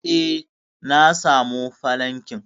eh, na samu falankin